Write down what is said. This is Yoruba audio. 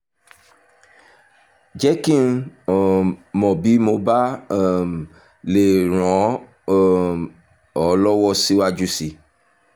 jẹ́ kí n um mọ̀ bí mo bá um lè ràn um ọ́ lọ́wọ́ síwájú sí i